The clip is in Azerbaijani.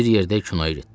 Bir yerdə kinoya getdik.